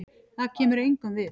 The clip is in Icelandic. Það kemur engum við.